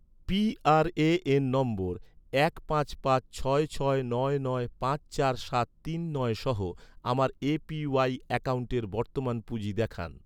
PRAN নম্বর এক পাঁচ পাঁচ ছয় ছয় নয় নয় পাঁচ চার সাত তিন নয় সহ, আমার এ.পি.ওয়াই অ্যাকাউন্টের বর্তমান পুঁজি দেখান